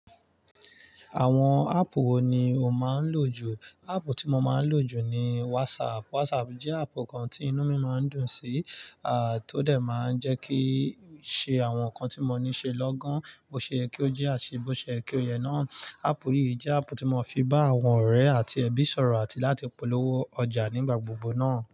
Àwọn áàpù wo ni o máa ń lò jù? Áàpù tí mo máa ń lò jù ni WhatsApp. WhatsApp jẹ́ áàpù kan kan tí inú mi máa ń dùn sí, tó dé máa ń jẹ́ kí ṣe àwọn nǹkan tí mo ní ṣe lọ́gán, bó ṣe yé kí ó jẹ́, àti bó ṣe yé kí ó yẹ náà. Áàpù yìí jẹ́ áàpù tí mo fi bá àwọn ọ̀rẹ́ àti ẹbí sọ̀rọ̀ àti láti polówó ọjà nígbà gbogbo náà.